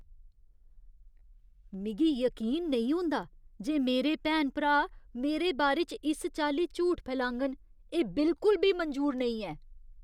मिगी यकीन नेईं होंदा जे मेरे भैन भ्रा मेरे बारे च इस चाल्ली झूठ फैलाङन। एह् बिल्कुल बी मंजूर नेईं ऐ।